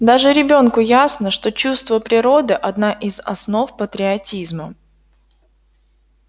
даже ребёнку ясно что чувство природы одна из основ патриотизма